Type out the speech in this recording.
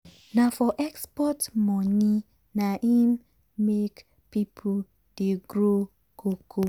na for export money na im make people dey grow cocoa.